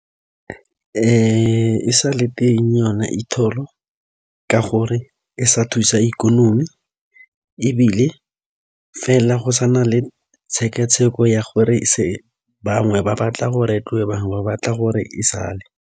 E sa le teng yona E toll-o ka gore e sa thusa ikonomi ebile fela go sana le tshekatsheko ya gore bangwe ba batla gore bangwe ba batla gore e sale.